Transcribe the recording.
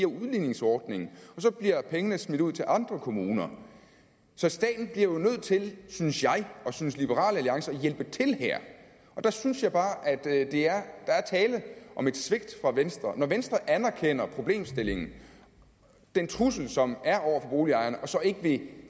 udligningsordningen og så bliver pengene smidt ud til andre kommuner så staten bliver jo nødt til synes jeg og liberal alliance at hjælpe til her og der synes jeg bare at der er tale om et svigt fra venstres side når venstre anerkender problemstillingen den trussel som er over for boligejerne og så ikke vil